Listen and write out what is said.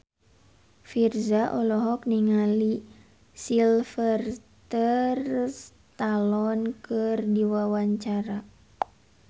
Virzha olohok ningali Sylvester Stallone keur diwawancara